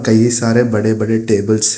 कई सारे बड़े बड़े टेबल्स हैं।